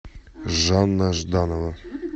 жанна жданова